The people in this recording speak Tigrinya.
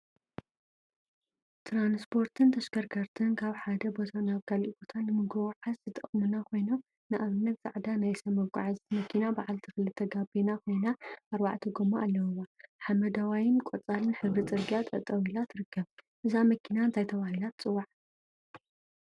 ትራንስፖርትን ተሽከርከርቲን ካብ ሓደ ቦታ ናብ ካሊእ ቦታ ንክንጎዓዓዝ ዝጠቅሙና ኮይኖም፤ ንአብነት ፃዕዳ ናይ ሰብ መጎዓዓዚት መኪና በዓልቲ ክልተ ጋቤና ኮይና አርባዕተ ጎማ አለውዋ፡፡ ሓመደዋይን ቆፃልን ሕብሪ ፅርግያ ጠጠወ ኢላ ትርከብ፡፡ እዛ መኪና እንታይ ተባሂላ ትፅዋዕ?